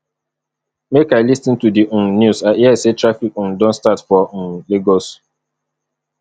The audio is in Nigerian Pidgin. make i lis ten to di um news i hear say traffic um don start for um lagos